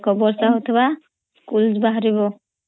ବର୍ଷା ହେଉଥିବା ସ୍କୁଲ୍ ବହାରିବ